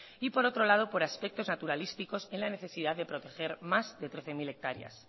y por otro lado por aspectos naturalísticos en la necesidad de proteger más de trece mil hectáreas